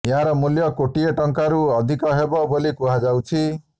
ଏହାର ମୂଲ୍ୟ କୋଟିଏ ଟଙ୍କାରୁ ଅଧିକ ହେବ ବୋଲି କୁହାଯାଉଛି